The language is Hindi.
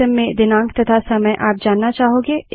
सिस्टम में दिनांक तथा समय आप जानना चाहोगे